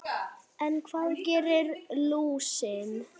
En hvað gerir lúsin?